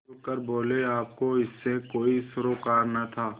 खुल कर बोलेआपको इससे कोई सरोकार न था